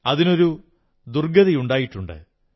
അതിനൊരു ദുർഗ്ഗതിയുണ്ടായിട്ടുണ്ട്